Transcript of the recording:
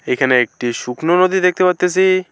এখানে একটি শুকনো নদী দেখতে পারতাসি।